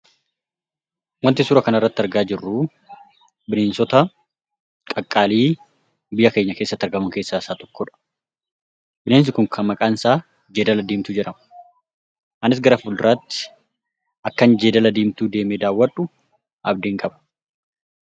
Waanti suuraa kanarratti argaa jirru, bineensota qaqqaalii biyya keenya keessatti argamu keessaa isa tokkodha. Bineensi kun kan maqaan isaa Jeedala Diimtuu jedhama. Anis gara fuulduratti akkan Jeedala Diimtuu deemee daawwadhu abdiin qaba.